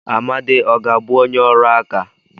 Amadi ọ ga-abụ onye ọrụ aka?